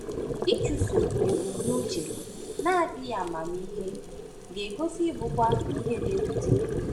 Ịchụso ebumnuche na-adịghị amamihe ga-egosi ịbụkwa ihe na-ewute.